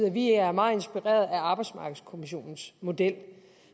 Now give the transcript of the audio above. at vi er meget inspireret af arbejdsmarkedskommissionens model